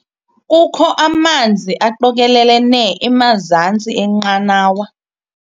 Kukho amanzi aqokelelene emazantsi enqanawa.